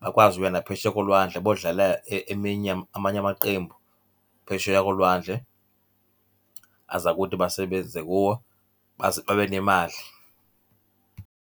Bakwazi ukuya naphesheya kolwandle bodlala eminye amanye amaqembu phesheya kolwandle, aza kuthi basebenze kuwo baze babe nemali.